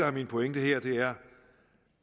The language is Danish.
er min pointe her er